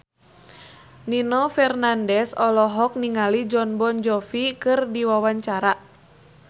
Nino Fernandez olohok ningali Jon Bon Jovi keur diwawancara